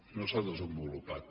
no s’ha desenvolupat